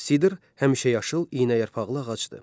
Sidr həmişəyaşıl iynəyarpaqlı ağacdır.